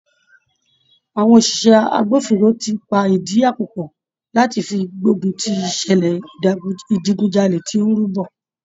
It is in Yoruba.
Àwọn òṣìṣẹ́ agbófinró ti pa ìdí àpò pọ̀ láti fi gbógun ti ìṣẹ̀lẹ̀ ìdigunjalè tí ó ń rú bọ̀.